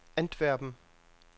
Antwerpen